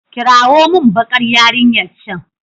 kirawo min bakar yarinyar can